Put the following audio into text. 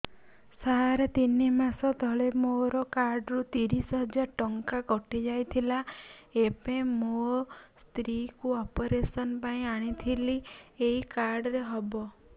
ସାର ତିନି ମାସ ତଳେ ମୋ କାର୍ଡ ରୁ ତିରିଶ ହଜାର ଟଙ୍କା କଟିଯାଇଥିଲା ଏବେ ମୋ ସ୍ତ୍ରୀ କୁ ଅପେରସନ ପାଇଁ ଆଣିଥିଲି ଏଇ କାର୍ଡ ରେ ହବ